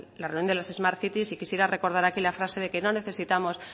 la reunión de las smart cities y quisiera recordar aquí la frase de que no necesitamos